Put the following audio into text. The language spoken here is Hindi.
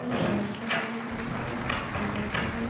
टी शेल्फ बनी हुई है उसपे टेबल पे दो--